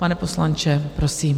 Pane poslanče, prosím.